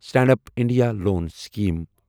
stand up India loan scheme